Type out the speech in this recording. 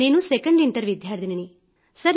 నేను 2ndఇయర్ విద్యార్థినిని